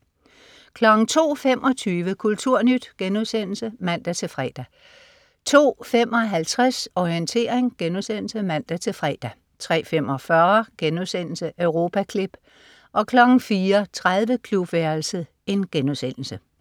02.25 Kulturnyt* (man-fre) 02.55 Orientering* (man-fre) 03.45 Europaklip* 04.30 Klubværelset*